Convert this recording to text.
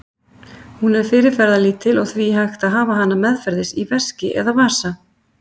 Hún er fyrirferðarlítil og því hægt að hafa hana meðferðis í veski eða vasa.